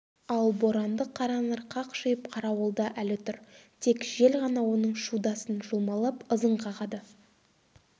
ал боранды қаранар қақшиып қарауылда әлі тұр тек жел ғана оның шудасын жұлмалап ызың қағады